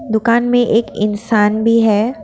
दुकान में एक इंसान भी है।